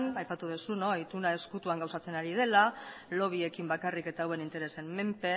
aipatu duzu ituna ezkutuan gauzatzen ari dela lobbyekin bakarrik eta hauen interesen menpe